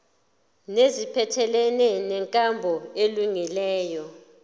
neziphathelene nenkambo elungileyo